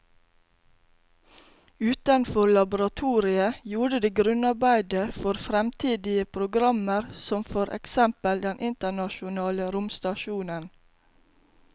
Utenfor laboratoriet gjorde de grunnarbeidet for fremtidige programmer som for eksempel den internasjonale romstasjonen.